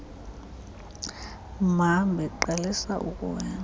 mhambi qalisa ukuwela